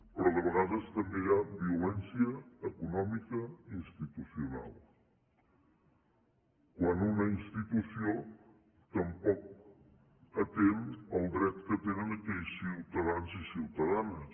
però de vegades també hi ha violència econòmica institucional quan una institució tampoc atén el dret que tenen aquells ciutadans i ciutadanes